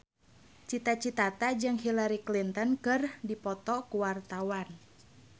Cita Citata jeung Hillary Clinton keur dipoto ku wartawan